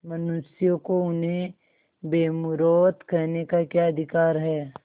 मनुष्यों को उन्हें बेमुरौवत कहने का क्या अधिकार है